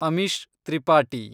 Amish Tripathi